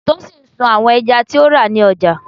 Tosin sun àwọn ẹja tí ó rà ní ọjà.